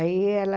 Aí ela...